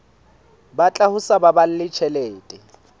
batla ho sa baballe tjhelete